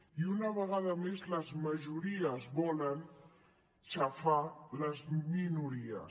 i una vegada més les majories volen xafar les minories